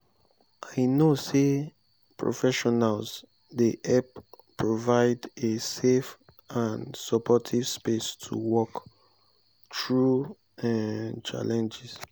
i know say professionals dey help provide a safe and supportive space to work through um challenges.